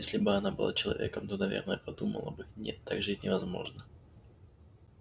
если бы она была человеком то наверное подумала бы нет так жить невозможно